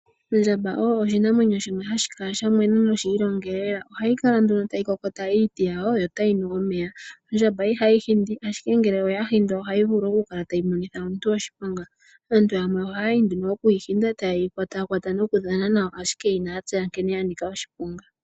Ondjamba oyo oshinamwenyo shimwe hashi kala sha mwena nosha ilongelela. Ohayi kala nduno tayi kokota iiti yawo yo tayi nu omeya. Ondjamba ihayi hindi, ashike ngele oya hindwa ohayi vulu okumonitha omuntu oshiponga. Aantu yamwe oye hole okuyi hinda taye yi kwatakwata nokudhana nayo, ashike inaya tseya nkene ya nika oshiponga.